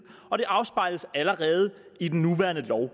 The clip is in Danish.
og det afspejles allerede i den nuværende lov